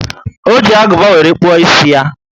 O ji aguba were kpuo ísì ya